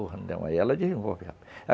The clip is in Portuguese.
Aí ela desenvolve rápido.